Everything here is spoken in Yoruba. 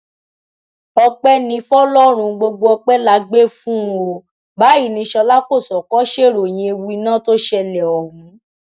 ọpẹ ní fọlọrun gbogbo ọpẹ la gbé fún un o báyìí ní ṣọlá kọsókó ṣèròyìn ewu iná tó ṣẹlẹ ọhún